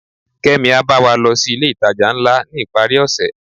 kemi a ba wa lo si ilé itaja ńlá ni iparí ose